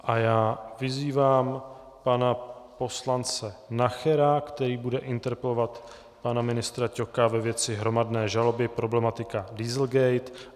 A já vyzývám pana poslance Nachera, který bude interpelovat pana ministra Ťoka ve věci hromadné žaloby, problematiky Dieselgate.